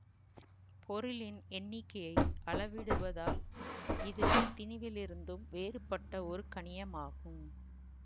பொருளின் எண்ணிக்கையை அளவிடுவதால் இது திணிவிலிருந்தும் வேறுபட்ட ஒரு கணியமாகும்